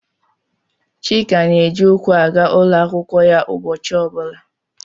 Chika na-eji ụkwụ aga ụlọ akwụkwọ ya ụbọchị ọ bụla.